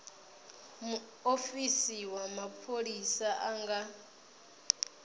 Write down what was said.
muofisi wa mapholisa a nga